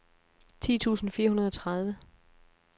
ti tusind fire hundrede og tredive